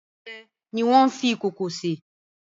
Oúnjẹ ni wọ́n fi ìkòkò sè.